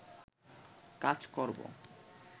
কাজ করব